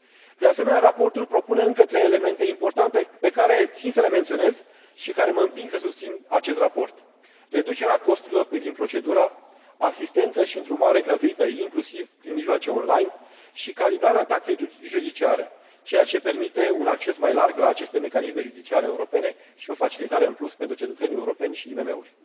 De asemenea, raportul propune încă trei elemente importante pe care țin să le menționez și care mă împing să susțin acest raport reducerea costurilor privind procedura, asistență și îndrumare gratuită, inclusiv prin mijloace online, și calibrarea taxei judiciare, ceea ce permite un acces mai larg la aceste mecanisme judiciare europene și o facilitare în plus pentru cetățenii europeni și IMM uri.